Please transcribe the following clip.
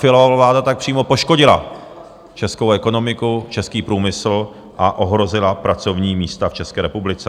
Fialova vláda tak přímo poškodila českou ekonomiku, český průmysl a ohrozila pracovní místa v České republice.